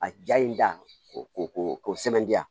A ja in da ko sɛmandan